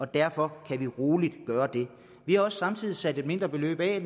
derfor kan vi roligt gøre det vi har også samtidig sat et mindre beløb af